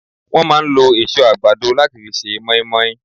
Wọ́n máa ń lo èso àgbàdo láti fi ṣe moinmoin